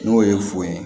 N'o ye fo ye